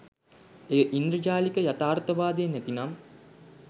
එය ඉන්ද්‍රජාලික යථාර්ථවාදය නැතිනම්